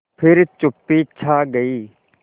फिर चुप्पी छा गई